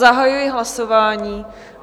Zahajuji hlasování.